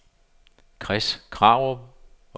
Chris Krarup